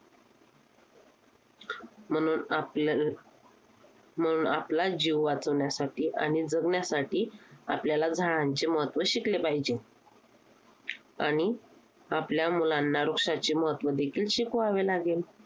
म्हणून आपल्या म्हणून आपला जीव वाचवण्यासाठी आणि जगण्यासाठी आपल्याला झाडांचे महत्त्व शिकले पाहिजे. आणि आपल्या मुलांना वृक्षांचे महत्त्वदेखील शिकवावे लागेल.